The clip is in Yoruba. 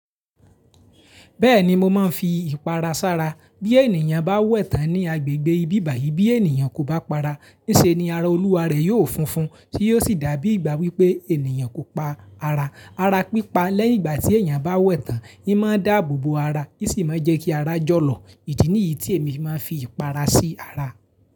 Bẹ́ẹ̀ni, mo máa ń fi ìpara sára. Bí ènìyàn bá wẹ̀ tán ní agbègbè ibìbàyí, bí ènìyàn kò bá para, ní ṣe ni ara olúwa rẹ̀ yóò funfun, tí yóò sì dàbí ìgbà wípé ènìyàn kò pa ara. Ara pípa lẹ́yìn ìgbà tí èèyàn bá wẹ̀ tán, hín máa ń dáàbò bo ara, í sì máa ń jẹ́ kí ara jọ̀lọ̀. Ìdí nìyí tí èmi máa ń fi ìpara sí ara.